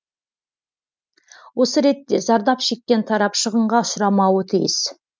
осы ретте зардап шеккен тарап шығынға ұшырамауы тиіс